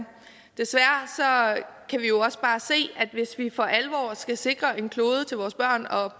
desværre kan vi jo også bare se at hvis vi for alvor skal sikre en klode til vores børn og